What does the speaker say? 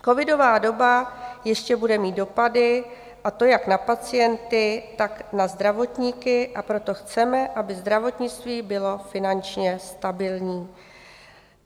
Covidová doba ještě bude mít dopady, a to jak na pacienty, tak na zdravotníky, a proto chceme, aby zdravotnictví bylo finančně stabilní.